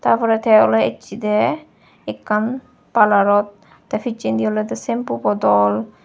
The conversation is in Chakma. tarpore te oley achedey ekkan parlourot te pisendi olodey shampoo bodol.